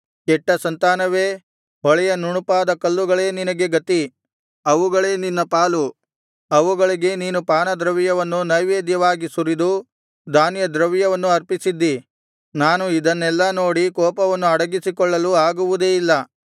ಕೆಟ್ಟ ಸಂತಾನವೇ ಹೊಳೆಯ ನುಣುಪಾದ ಕಲ್ಲುಗಳೇ ನಿನಗೆ ಗತಿ ಅವುಗಳೇ ನಿನ್ನ ಪಾಲು ಅವುಗಳಿಗೆ ನೀನು ಪಾನದ್ರವ್ಯವನ್ನು ನೈವೇದ್ಯವಾಗಿ ಸುರಿದು ಧಾನ್ಯದ್ರವ್ಯವನ್ನು ಅರ್ಪಿಸಿದ್ದಿ ನಾನು ಇದನ್ನೆಲ್ಲಾ ನೋಡಿ ಕೋಪವನ್ನು ಅಡಗಿಸಿಕೊಳ್ಳಲು ಆಗುವುದೇ